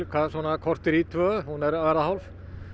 korter í tvö hún er að verða hálf